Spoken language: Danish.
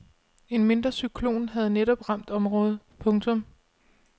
En mindre cyklon havde netop ramt området. punktum